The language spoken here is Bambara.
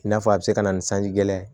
I n'a fɔ a bɛ se ka na ni sanji gɛlɛn